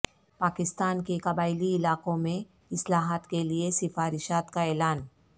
پاکستان کے قبائلی علاقوں میں اصلاحات کے لیے سفارشات کا اعلان